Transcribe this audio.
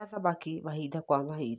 Rĩa thamaki mahinda kwa mahinda.